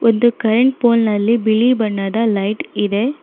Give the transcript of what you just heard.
ಒಂದು current pole ನಲ್ಲಿ ಬಿಳಿ ಬಣ್ಣದ ಲೈಟ್ ಇದೆ.